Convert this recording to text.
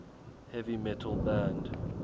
heavy metal band